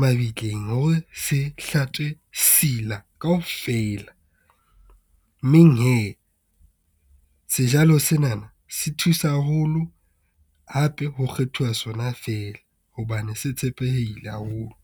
mabitleng, hore se hlatswe sila kaofela mmeng hee, sejalo senana se thusa haholo hape ho kgethuwa sona fela hobane se tshepeheile haholo.